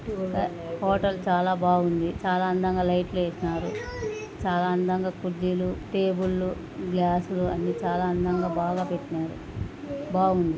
Hotel చాలా బాగుంది చాలా అందంగా లైట్ లు పెట్టినారు చాలా అందంగా కుర్చీలు టేబుల్ లు గ్లాస్ లు అన్ని చాలా అందంగా బాగా పెట్టినారు.